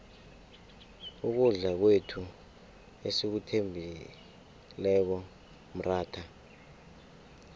ukudla kwethu esikuthembileko mratha